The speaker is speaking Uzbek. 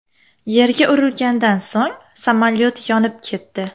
Yerga urilgandan so‘ng samolyot yonib ketdi.